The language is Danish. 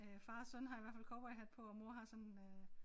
Øh far og søn har i hvert fald cowboyhat på og mor har sådan øh